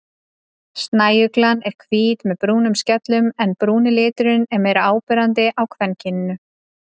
Snæuglan er hvít með brúnum skellum en brúni liturinn er meira áberandi á kvenkyninu.